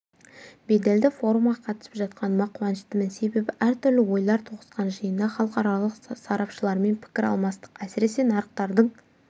беделді форумға қатысып жатқаныма қуаныштымын себебі әртүрлі ойлар тоғысқан жиында халықаралық сарапшылармен пікір алмастық әсіресе нарықтардың